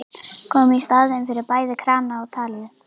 Kom í staðinn fyrir bæði krana og talíu.